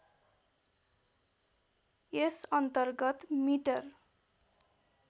यस अन्तर्गत मिटर